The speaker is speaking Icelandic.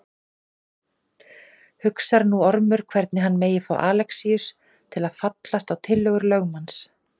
Hugsar nú Ormur hvernig hann megi fá Alexíus til að fallast á tillögur lögmanns.